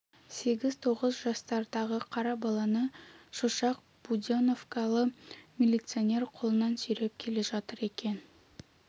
сегіз-тоғыз жастардағы қара баланы шошақ буденновкалы милиционер қолынан сүйреп келе жатыр екен